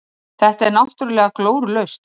Þetta er náttúrulega glórulaust.